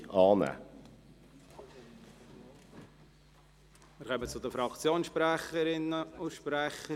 Wir kommen zu den Fraktionssprecherinnen und -sprechern.